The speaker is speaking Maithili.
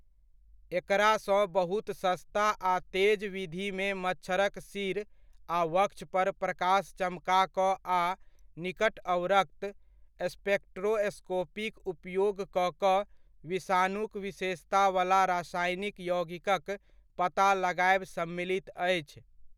एकरासँ बहुत सस्ता आ तेज विधिमे मच्छरक सिर आ वक्षपर प्रकाश चमका कऽ आ निकट अवरक्त स्पेक्ट्रोस्कोपीक उपयोग कऽ कऽ विषाणुक विशेषतावला रासायनिक यौगिकक पता लगायब सम्मिलित अछि।